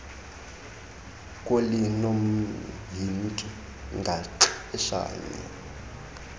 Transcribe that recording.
kholi nomhinki ngaxeshanye